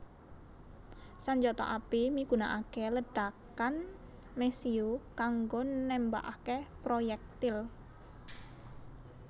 Sanjata api migunakaké ledhakan mesiu kanggo nembakaké proyèktil